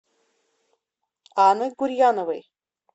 анной гурьяновой